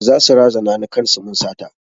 Za su razana ni kan su mun sata